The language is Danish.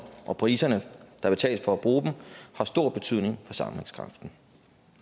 og priserne der betales for at bruge dem har stor betydning for sammenhængskraften